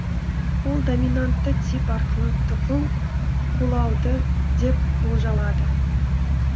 ол доминантты тип арқылы тұқым қулауды деп болжалады